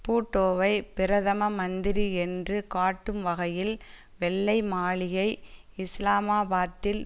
பூட்டோவை பிரதம மந்திரி என்று காட்டும் வகையில் வெள்ளை மாளிகை இஸ்லாமாபாத்தில்